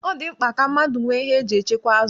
Ọ dị mkpa ka mmadụ nwee ihe eji echekwa azụ.